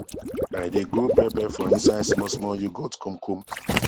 i dae grow pepper for inside small small yoghurt kom kom